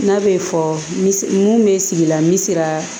N'a bɛ fɔ mun bɛ sigila n bɛ sira